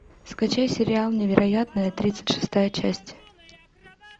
скачай сериал невероятное тридцать шестая часть